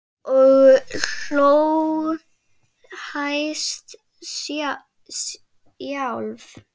Og hló hæst sjálf.